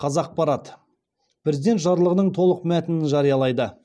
қазақпарат президент жарлығының толық мәтінін жариялайды